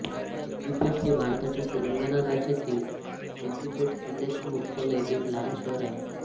सिद्दिपेट हे भारताच्या तेलंगणा राज्यातील सिद्दिपेट जिल्ह्याचे मुख्यालय एक लहान शहर आहे